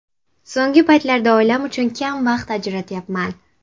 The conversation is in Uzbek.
So‘nggi paytlarda oilam uchun kam vaqt ajratyapman.